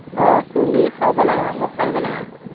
আহ চুলি খোৰাৱ লাগিব, মই খুৰাই দিব লাগে